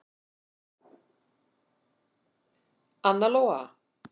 Anna Lóa.